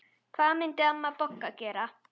Hvað myndi amma Bogga gera?